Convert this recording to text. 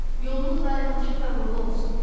Yolunuz daima açıq və uğurlu olsun.